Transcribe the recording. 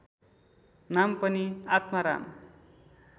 नाम पनि आत्माराम